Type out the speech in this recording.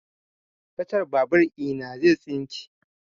Kacan babur ina zai tsinke